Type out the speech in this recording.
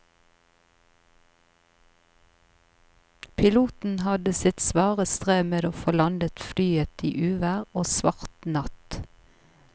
Piloten hadde sitt svare strev med å få landet flyet i uvær og svart natt.